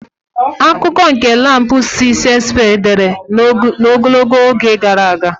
Akụkọ nke Lamb si Shakespeare dere ogologo oge gara aga